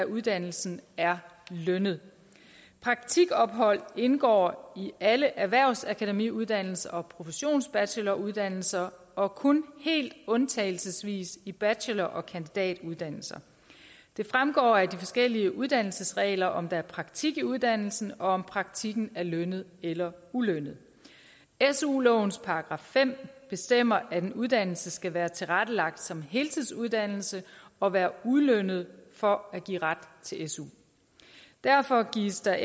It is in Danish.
uddannelsen er lønnet praktikophold indgår i alle erhvervsakademiuddannelser og professionsbacheloruddannelser og kun helt undtagelsesvis i bachelor og kandidatuddannelser det fremgår af de forskellige uddannelsesregler om der er praktik i uddannelsen og om praktikken er lønnet eller ulønnet su lovens § fem bestemmer at en uddannelse skal være tilrettelagt som heltidsuddannelse og være ulønnet for at give ret til su derfor gives der